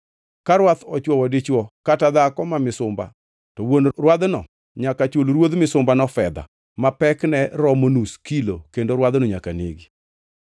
Ka rwath ochwowo dichwo kata dhako ma misumba, to wuon rwadhno nyaka chul ruodh misumbano fedha ma pekne romo nus kilo, kendo rwadhno nyaka negi.